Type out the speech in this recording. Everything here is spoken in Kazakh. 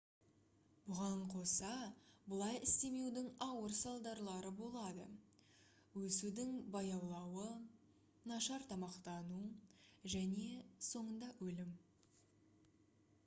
бұған қоса бұлай істемеудің ауыр салдарлары болады өсудің баяулауы нашар тамақтану және соңында өлім